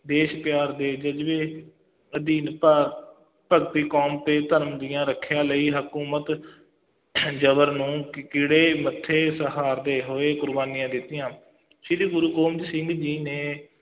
ਦੇਸ਼ ਪਿਆਰ ਦੇ ਜ਼ਜ਼ਬੇ ਅਧੀਨ ਭਾਰ ਭਗਤੀ ਕੌਮ ਤੇ ਧਰਮ ਦੀਆਂ ਰੱਖਿਆ ਲਈ, ਹਕੂਮਤ ਜ਼ਬਰ ਨੂੰ ਮੱਥੇ ਸਹਾਰਦੇ ਹੋਏ ਕੁਰਬਾਨੀਆਂ ਦਿੱਤੀਆਂ ਸ੍ਰੀ ਗੁਰੂ ਗੋਬਿੰਦ ਸਿੰਘ ਜੀ ਨੇ